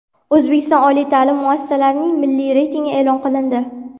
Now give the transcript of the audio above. O‘zbekiston oliy ta’lim muassasalarining milliy reytingi e’lon qilindi.